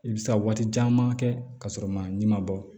I bɛ se ka waati caman kɛ ka sɔrɔ man bɔ